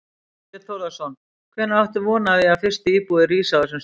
Þorbjörn Þórðarson: Hvenær áttu von á því að fyrstu íbúðir rísi á þessum stað?